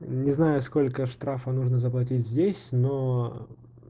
не знаю сколько штрафа нужно заплатить здесь но